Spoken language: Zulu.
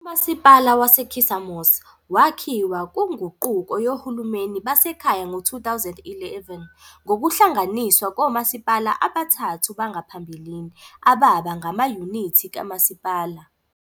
Umasipala waseKissamos wakhiwa kunguquko yohulumeni basekhaya ngo-2011 ngokuhlanganiswa komasipala abathathu bangaphambilini, ababa ngamayunithi kamasipala.